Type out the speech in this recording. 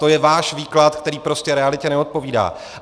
To je váš výklad, který prostě realitě neodpovídá.